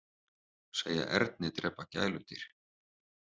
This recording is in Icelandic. Segja erni drepa gæludýr